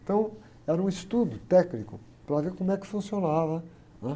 Então, era um estudo técnico para ver como é que funcionava, né?